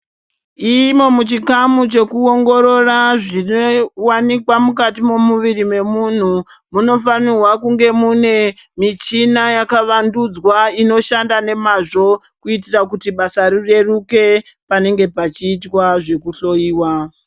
Imo muchikamu chekuingororwa zvine wanikwa mukati mwemuviri wemunhu munofanirwa kunge mune muchina yakavandudzwa inoshanda nemazvo kuitira kuti basa rireruke panenge pachita zvekuhloiwa.